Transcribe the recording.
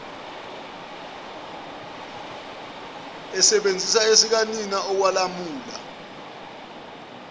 ebesebenzisa esikanina okwalamula